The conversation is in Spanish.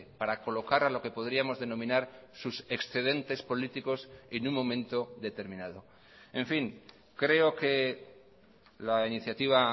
para colocar a lo que podríamos denominar sus excedentes políticos en un momento determinado en fin creo que la iniciativa